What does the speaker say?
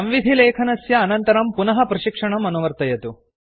संविधिलेखनस्य अनन्तरं पुनः प्रशिक्षणम् अनुवर्तयतु